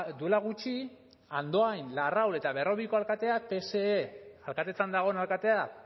duela gutxi andoain larraul eta berrobiko alkateak pse alkatetzan dagoen alkatea